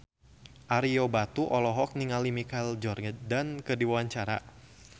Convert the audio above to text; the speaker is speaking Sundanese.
Ario Batu olohok ningali Michael Jordan keur diwawancara